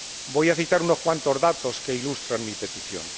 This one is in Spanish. Voy a citar unos cuantos datos que ilustran mi petición.